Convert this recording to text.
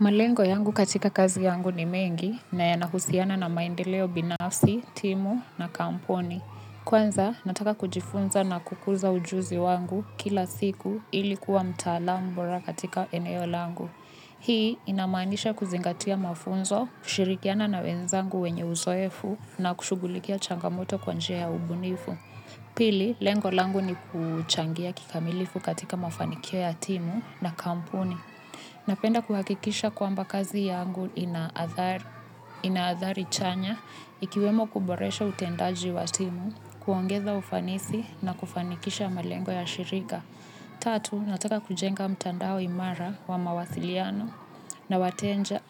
Malengo yangu katika kazi yangu ni mengi na yanahusiana na maendeleo binafsi, timu na kampuni. Kwanza, nataka kujifunza na kukuza ujuzi wangu kila siku ili kuwa mtaalamu bora katika eneo langu. Hii inamaanisha kuzingatia mafunzo, kushirikiana na wenzangu wenye uzoefu na kushughulikia changamoto kwa njia ya ubunifu. Pili, lengo langu ni kuchangia kikamilifu katika mafanikio ya timu na kampuni. Ninapenda kuhakikisha kwamba kazi yangu ina athari chanya ikiwemo kuboresha utendaji wa timu, kuongeza ufanisi na kufanikisha malengo ya shirika. Tatu, nataka kujenga mtandao imara wa mawasiliano